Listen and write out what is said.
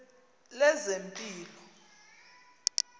lezempilo